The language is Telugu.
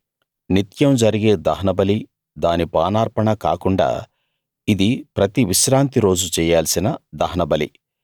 నిత్యం జరిగే దహనబలీ దాని పానార్పణ కాకుండా ఇది ప్రతి విశ్రాంతి రోజు చెయ్యాల్సిన దహనబలి